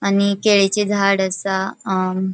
आनी केळीची झाड़ असा अ --